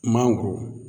Mangoro